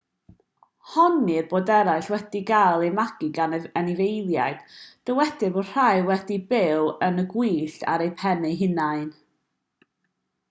honnir bod eraill wedi cael eu magu gan anifeiliaid dywedir bod rhai wedi byw yn y gwyllt ar eu pennau eu hunain